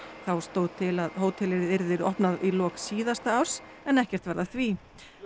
þá stóð til að hótelið yrði opnað í lok síðasta árs en ekkert varð af því